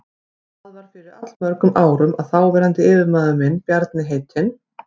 Það var fyrir allmörgum árum að þáverandi yfirmaður minn, Bjarni heitinn